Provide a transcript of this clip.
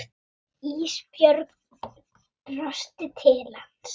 Ísbjörg brosti til hans.